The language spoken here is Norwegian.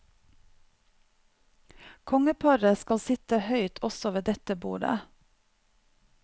Kongeparet skal sitte høyt også ved dette bordet.